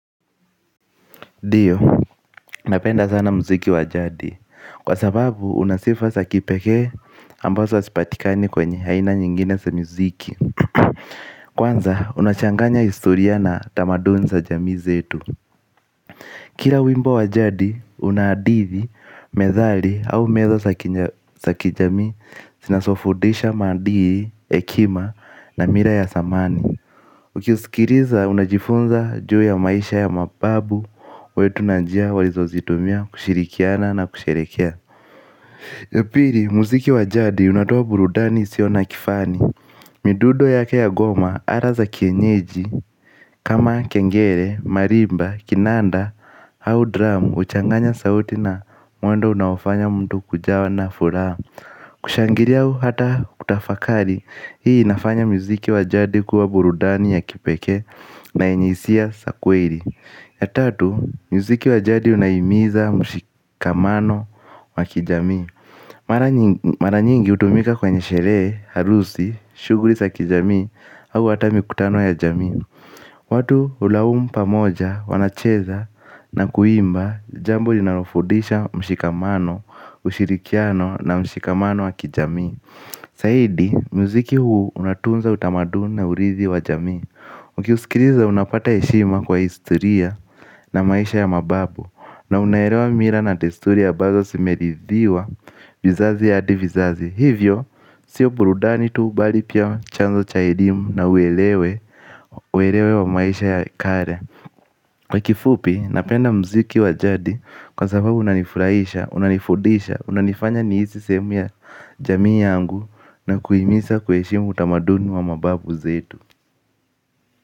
Dio, napenda sana mziki wajadi, kwa sababu unasifa sakipeke ambazo asipatikani kwenye haina nyingine sa mziki. Kwanza, unachanganya istoria na tamaduni za jami zetu. Kira wimbo wajadi, unadithi, methali au meza saki jami sinasofudisha madili, ekima na mira ya samani. Ukiusikiriza unajifunza juu ya maisha ya mababu wetu na njia walizo zitumia kushirikiana na kusherekea. Yapiri, muziki wajadi unatoa burudani siona kifani. Midudo yake goma ara za kienyeji. Kama kengere, marimba, kinanda, hau dramu. Uchanganya sauti na mwendo unaowafanya mdu kujawa na fura. Kushangiria au hata kutafakari. Hii inafanya muziki wajadi kuwa burudani ya kipeke. Na inyisia sakweli. Ya tatu, muziki wajadi unahimiza mshikamano wa kijami. Maranyingi utumika kwenye sheree, harusi, shuguri sa kijami. Au hata mi kutano ya jami watu ulaum pamoja, wanacheza na kuimba. Jambo linarofudisha mshikamano, ushirikiano na mshikamano wa kijami. Saidi, muziki huu unatunza utamaduni urithi wa jami. Ukiusikiriza unapata eshima kwa istoria na maisha ya mababu. Na unaherewa mira na testuri ya bazo simerithiwa vizazi ya adi vizazi. Hivyo, sio burudani tuu bali pia chanzo cha edimu na uelewe wa maisha ya kale. Kwa kifupi, napenda mziki wa jadi kwa sababu unanifurahisha, unanifudisha, unanifanya nihisi sehemu ya jamii yangu Na kuhimiza kuheshimu utamaduni wa mababu zetu.